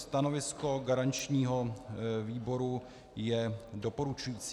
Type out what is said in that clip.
Stanovisko garančního výboru je doporučující.